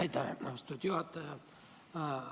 Aitäh, austatud juhataja!